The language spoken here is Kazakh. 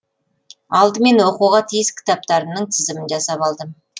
алдымен оқуға тиіс кітаптарымның тізімін жасап алдым